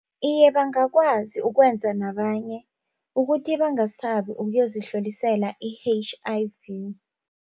Iye, bangakwazi ukwenza nabanye ukuthi bangasabi ukuyozihlolisela i-H_I_V.